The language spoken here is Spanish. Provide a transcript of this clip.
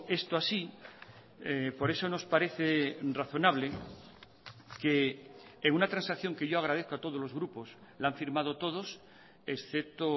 esto así por eso nos parece razonable que en una transacción que yo agradezco a todos los grupos la han firmado todos excepto